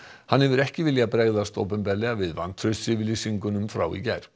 hann hefur ekki viljað bregðast opinberlega við vantraustsyfirlýsingum frá í gær